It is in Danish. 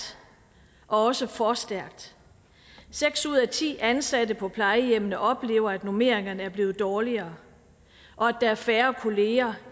også for stærkt seks ud af ti ansatte på plejehjemmene oplever at normeringerne er blevet dårligere og at der er færre kolleger